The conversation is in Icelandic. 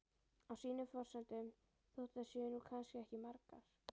Á sínum forsendum, þótt þær séu nú kannski ekki margar.